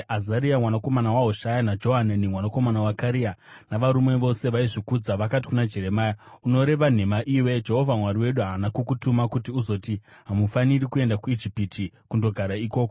Azaria mwanakomana waHoshaya naJohanani mwanakomana waKarea navarume vose vaizvikudza vakati kuna Jeremia, “Unoreva nhema iwe! Jehovha Mwari wedu haana kukutuma kuti uzoti, ‘Hamufaniri kuenda kuIjipiti kundogara ikoko.’